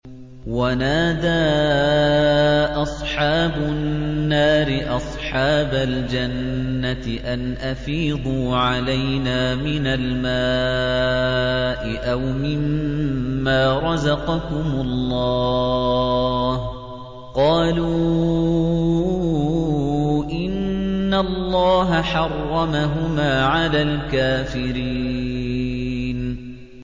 وَنَادَىٰ أَصْحَابُ النَّارِ أَصْحَابَ الْجَنَّةِ أَنْ أَفِيضُوا عَلَيْنَا مِنَ الْمَاءِ أَوْ مِمَّا رَزَقَكُمُ اللَّهُ ۚ قَالُوا إِنَّ اللَّهَ حَرَّمَهُمَا عَلَى الْكَافِرِينَ